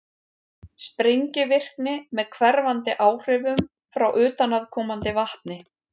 sprengivirkni með hverfandi áhrifum frá utanaðkomandi vatni